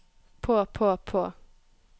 på på på